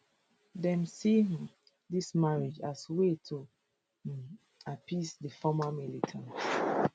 dem see um dis marriages as way to um appease di former militants